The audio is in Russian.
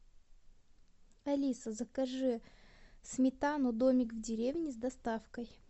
алиса закажи сметану домик в деревне с доставкой